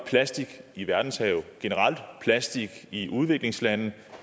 plastik i verdenshavene generelt og plastik i udviklingslande